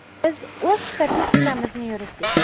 Biz o‘z statistikamizni yuritdik.